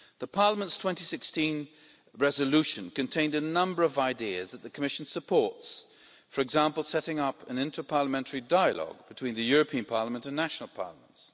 Parliament's 2016 resolution contained a number of ideas that the Commission supports for example, setting up an interparliamentary dialogue between the European Parliament and national parliaments.